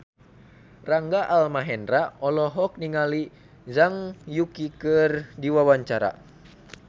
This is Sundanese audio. Rangga Almahendra olohok ningali Zhang Yuqi keur diwawancara